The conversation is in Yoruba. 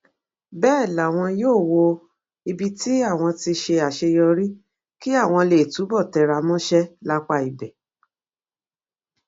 bẹẹ làwọn yóò wo ibi tí àwọn ti ṣe àṣeyọrí kí àwọn lè túbọ tẹra mọṣẹ lápá ibẹ